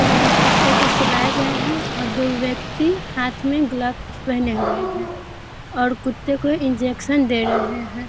यहाँ कुत्ते को सुलाए गए हैं और दो व्यक्ति हाथ मे ग्लाब्स पहने हुए हैं और कुत्ते को इन्जेक्शन दे रहे हैं ।